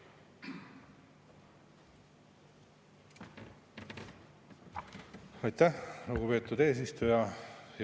Aitäh, lugupeetud eesistuja!